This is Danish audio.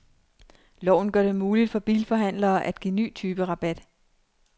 Loven gør det muligt for bilforhandlere at give ny type rabat.